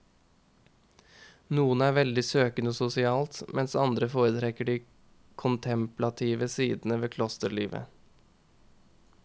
Noen er veldig søkende sosialt, mens andre foretrekker de kontemplative sider ved klosterlivet.